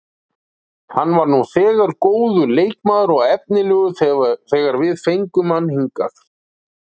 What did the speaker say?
Hann var nú þegar góður leikmaður og efnilegur þegar við fengum hann hingað.